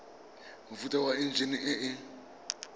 mofuta wa enjine e e